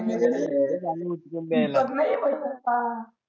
अरे रे दीपक नाही बच सकता